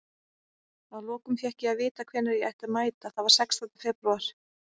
Að lokum fékk ég að vita hvenær ég ætti að mæta, það var sextánda febrúar.